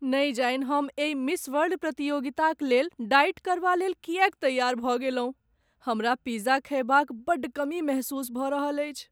नहि जानि हम एहि मिस वर्ल्ड प्रतियोगिताक लेल डाइट करबालेल किएक तैआर भऽ गेलहुँ। हमरा पिज्जा खयबा क बड्ड कमी महसूस भ रहल अछि।